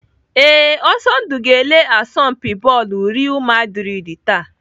Ee, Ọsọndụ ga-ele asọmpi bọọlụ Real maldrid taa.